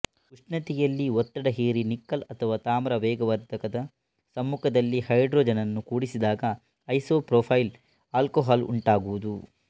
ಉಷ್ಣತೆಯಲ್ಲಿ ಒತ್ತಡ ಹೇರಿ ನಿಕ್ಕಲ್ ಅಥವಾ ತಾಮ್ರ ವೇಗವರ್ಧಕದ ಸಮ್ಮುಖದಲ್ಲಿ ಹೈಡ್ರೊಜನನ್ನು ಕೂಡಿಸಿದಾಗ ಐಸೊಪ್ರೊಪೈಲ್ ಆಲ್ಕೊಹಾಲ್ ಉಂಟಾಗುವುದು